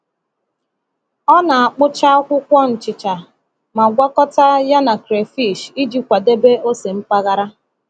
Ọ na-akpụcha akwụkwọ nchịcha ma gwakọta ya na crayfish iji kwadebe ose mpaghara.